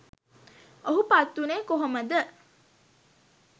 ඔහු පත් වුණේ කොහොමද?